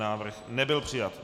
Návrh nebyl přijat.